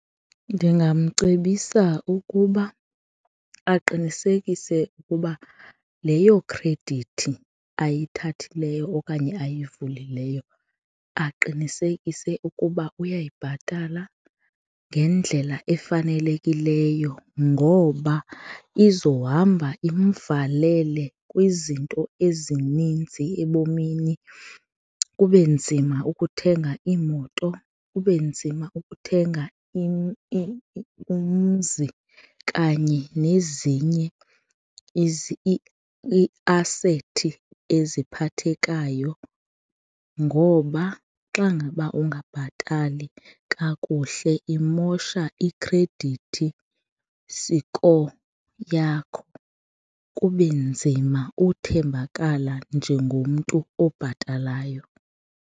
Ndingamcebisa ukuba aqinisekise ukuba leyo khredithi ayithathileyo okanye ayivulileyo aqinisekise ukuba uyayibhatala ngendlela efanelekileyo ngoba izohamba imvalele kwizinto ezininzi ebomini kube nzima ukuthenga iimoto, kube nzima ukuthenga umzi kanye nezinye iiasethi eziphathekayo ngoba xa ngaba ungabhatali kakuhle imosha i-credit score yakho, kube nzima ukuthembakala njengomntu obhatalayo.